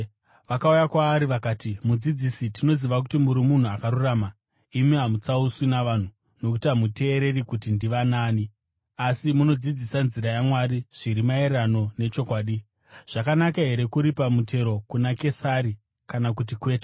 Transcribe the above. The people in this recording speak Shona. Vakauya kwaari vakati, “Mudzidzisi, tinoziva kuti muri munhu akarurama. Imi hamutsauswi navanhu, nokuti hamuteereri kuti ndivanaani, asi munodzidzisa nzira yaMwari zviri maererano nechokwadi. Zvakanaka here kuripa mutero kuna Kesari kana kuti kwete?